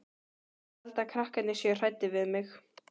Ég held að krakkarnir séu hræddir við mig.